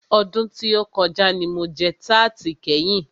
Ọdún tí o kọjá ní mo jẹ tarti kẹ́yin.